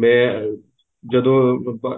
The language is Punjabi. ਮੈਂ ਜਦੋਂ